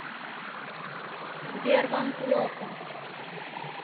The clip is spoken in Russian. сбер вам плохо